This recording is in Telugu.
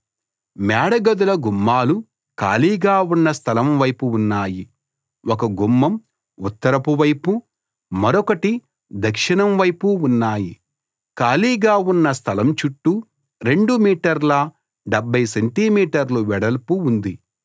మేడగదుల గుమ్మాలు ఖాళీగా ఉన్న స్థలం వైపు ఉన్నాయి ఒక గుమ్మం ఉత్తరపు వైపు మరొకటి దక్షిణం వైపు ఉన్నాయి ఖాళీగా ఉన్న స్థలం చుట్టూ 2 మీటర్ల 70 సెంటి మీటర్లు వెడల్పు ఉంది